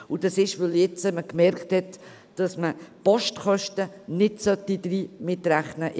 Dies ist der Fall, weil man festgestellt hat, dass man die Postgebühren nicht in den Kredit einrechnen sollte.